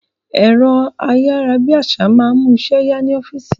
Ẹ̀rọ ayárabíàṣá máa ń mú iṣẹ́ ya ni ọ́fíìsì